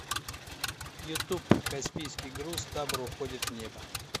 ютуб каспийский груз табор уходит в небо